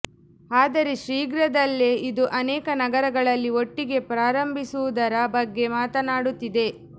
ಆದರೆ ಶೀಘ್ರದಲ್ಲೇ ಇದು ಅನೇಕ ನಗರಗಳಲ್ಲಿ ಒಟ್ಟಿಗೆ ಪ್ರಾರಂಭಿಸುವುದರ ಬಗ್ಗೆ ಮಾತನಾಡುತ್ತಿದೆ